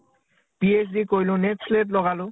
PHD কৰিলো net চে'লেত লগালো